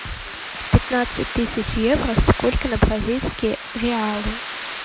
пятнадцать тысяч евро сколько на бразильские реалы